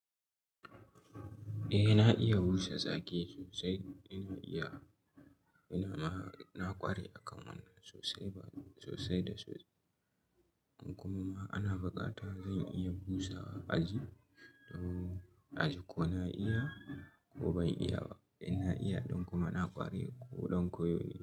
Eh na iya busa zaki sosai, na iya, ina na ƙware a kan wannan sosai ba sosai da sosai. Kuma ana buƙata zan iya busawa aji, don aji ko na iya ko ban iya ba. In na iya don kuma na ƙware ko don koyo ne.